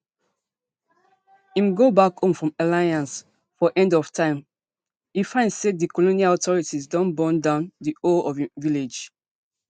im go back home from alliance for end of term im find say di colonial authorities don burn down di whole of im village